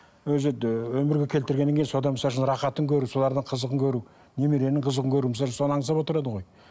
өзі де өмірге келтіргеннен кейін содан рахатын көру солардың қызығын көру немеренің қызығын көру соны аңсап отырады ғой